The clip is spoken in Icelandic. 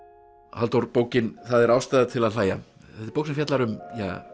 Halldór bókin það er ástæða til að hlæja þetta er bók sem fjallar um